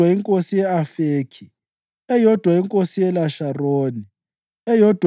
inkosi ye-Afekhi, eyodwa inkosi yeLasharoni, eyodwa